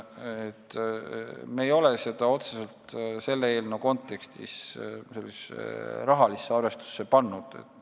Me ei ole selle eelnõu kontekstis seda otseselt rahalisse arvestusse pannud.